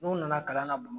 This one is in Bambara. N'u nana kalan na bama